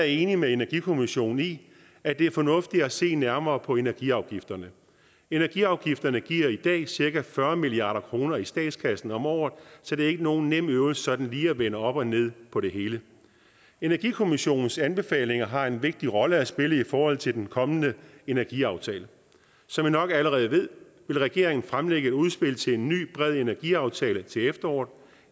enig med energikommissionen i at det er fornuftigt at se nærmere på energiafgifterne energiafgifterne giver i dag cirka fyrre milliard kroner i statskassen om året så det er ikke nogen nem øvelse sådan lige at vende op og ned på det hele energikommissionens anbefalinger har en vigtig rolle at spille i forhold til den kommende energiaftale som i nok allerede ved vil regeringen fremlægge et udspil til en ny bred energiaftale til efteråret